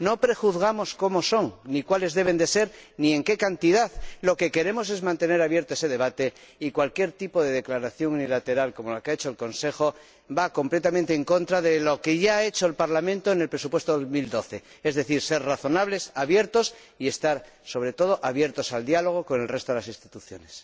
No prejuzgamos cómo son, ni cuáles deben ser, ni en qué cantidad, lo que queremos es mantener abierto ese debate y cualquier tipo de declaración unilateral, como la que ha hecho el Consejo, va completamente en contra de lo que ya ha hecho el Parlamento en el presupuesto para 2012, es decir ser razonables, abiertos y estar sobre todo abiertos al diálogo con el resto de las instituciones.